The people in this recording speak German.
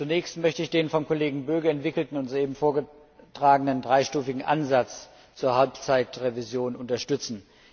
Zunächst möchte ich den vom Kollegen Böge entwickelten und soeben vorgetragenen dreistufigen Ansatz zur Halbzeitrevision unterstützen.